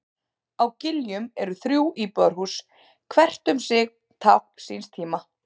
Á Giljum eru þrjú íbúðarhús, hvert um sig tákn síns tíma.